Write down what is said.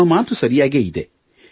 ನಿಮ್ಮ ಮಾತು ಸರಿಯಾಗಿಯೇ ಇದೆ